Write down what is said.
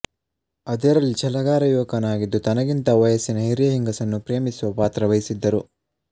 ಅದರಲ್ಲಿ ಛಲಗಾರ ಯುವಕನಾಗಿದ್ದು ತನಗಿಂತ ವಯಸ್ಸಿನಲ್ಲಿ ಹಿರಿಯ ಹೆಂಗಸನ್ನು ಪ್ರೇಮಿಸುವ ಪಾತ್ರವಹಿಸಿದ್ದರು